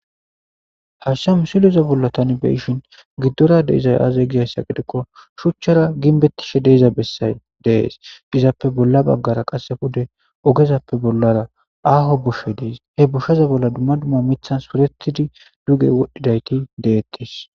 Ashsha musileza bolla tani beishin giddora deizay aazay gizayssa gidekko shuchchara ginbettishe deeza bessay dees izappe bolla baggara qasse fude ogezappe bollara aaho bushe dees he busheza bolla dumma dumma mithan puretidi duge wodhdhidayti deettes.